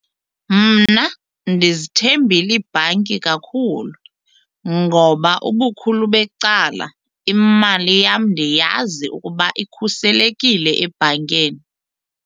Mna ndizithembile iibhanki kakhulu ngoba ubukhulu becala imali yam ndiyazi ukuba ikhuselekile ebhankeni.